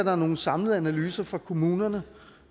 er nogen samlede analyser fra kommunerne